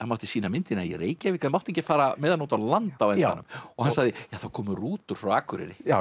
mátti sýna myndina í Reykjavík en mátti ekki fara með hana út á land á endanum og hann sagði það komu rútur frá Akureyri já